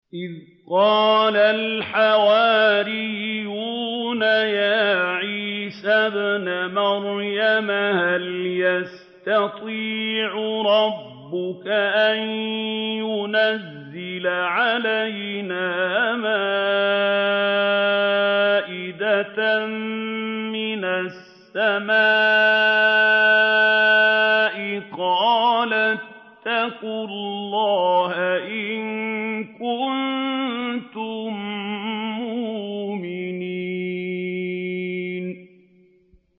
إِذْ قَالَ الْحَوَارِيُّونَ يَا عِيسَى ابْنَ مَرْيَمَ هَلْ يَسْتَطِيعُ رَبُّكَ أَن يُنَزِّلَ عَلَيْنَا مَائِدَةً مِّنَ السَّمَاءِ ۖ قَالَ اتَّقُوا اللَّهَ إِن كُنتُم مُّؤْمِنِينَ